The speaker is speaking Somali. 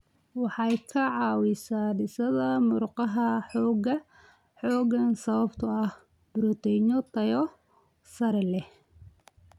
Waxay ka caawisaa dhisidda murqaha xooggan sababtoo ah borotiinno tayo sare leh.